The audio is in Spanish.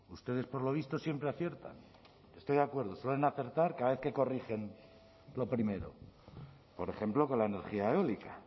ustedes por lo visto siempre aciertan estoy de acuerdo suelen acertar cada vez que corrigen lo primero por ejemplo con la energía eólica